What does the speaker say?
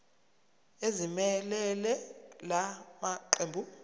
ezimelele la maqembu